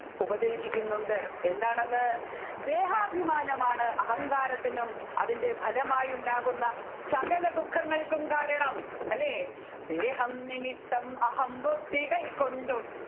ഉപദേശിക്കുന്നുണ്ട് എന്താണെന്ന് ദേഹാഭിമാനമാണ് അഹങ്കാരത്തിനും അതിൻെറ ഫലമായി ഉണ്ടാകുന്ന സകല ദുഃഖങ്ങൾക്കും കാരണം അല്ലെ ദേഹം നിമിത്തം അഹംബുദ്ധികൾ കൊണ്ടും